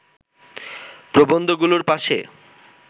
প্রবন্ধগুলোর পাশে